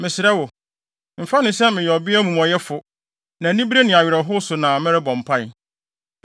Mesrɛ wo, mfa no sɛ meyɛ ɔbea omumɔyɛfo. Na anibere ne awerɛhow so na merebɔ mpae.”